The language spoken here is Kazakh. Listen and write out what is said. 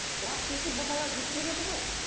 уақыт өте бұл бала өзгереді ғой